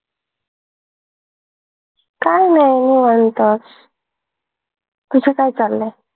काय नाही निवांतच तुझ काय चालय?